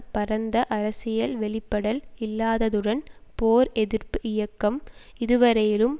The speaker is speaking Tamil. பரந்த அரசியல் வெளிப்படல் இல்லாததுடன் போர் எதிர்ப்பு இயக்கம் இதுவரையிலும்